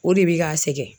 O de bi ka sɛgɛn